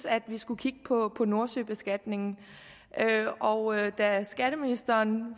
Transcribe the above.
at vi skulle kigge på nordsøbeskatningen og da skatteministeren